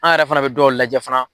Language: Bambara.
An yɛrɛ fana bɛ dɔw lajɛ fana.